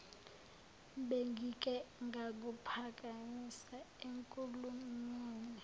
bengike ngakuphakamisa enkulumweni